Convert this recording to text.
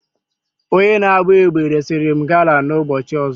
Onye na-agba egbe resịrị m gala na ụbọchị ọzọ.